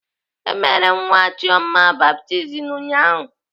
E mere nwa Chioma baptizim ụnyaahụ.